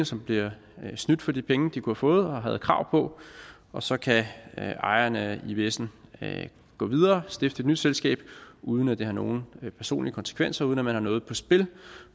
som bliver snydt for de penge de kunne have fået og har krav på og så kan ejeren af ivsen gå videre og stifte et nyt selskab uden at det har nogen personlige konsekvenser og uden at man har noget på spil